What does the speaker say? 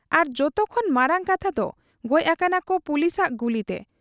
ᱟᱨ ᱡᱚᱛᱚ ᱠᱷᱚᱱ ᱢᱟᱨᱟᱝ ᱠᱟᱛᱷᱟᱫᱚ ᱜᱚᱡ ᱟᱠᱟᱱᱟᱠᱚ ᱯᱩᱞᱤᱥᱟᱜ ᱜᱩᱞᱤᱛᱮ ᱾